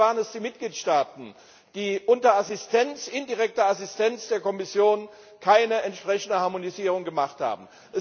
Bisher waren es die Mitgliedstaaten, die unter indirekter Assistenz der Kommission keine entsprechende Harmonisierung vorgenommen haben.